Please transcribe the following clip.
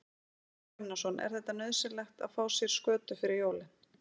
Hafþór Gunnarsson: Er þetta nauðsynlegt að fá sér skötu fyrir jólin?